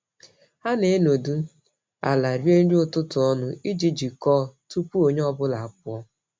Ha na-enọdụ ala rie nri ụtụtụ ọnụ iji jikọọ tupu onye ọ bụla apụọ.